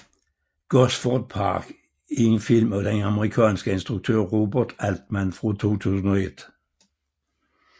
Gosford Park er en film af den amerikanske instruktør Robert Altman fra 2001